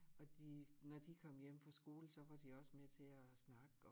Og de når de kom hjem fra skole så var de også med til at snakke og